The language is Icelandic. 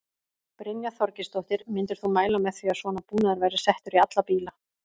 Brynja Þorgeirsdóttir: Myndir þú mæla með því að svona búnaður væri settur í alla bíla?